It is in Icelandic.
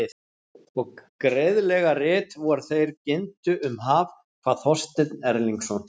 Og greiðlega rit vor þeir ginntu um haf, kvað Þorsteinn Erlingsson.